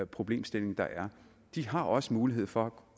problemstilling der er de har også mulighed for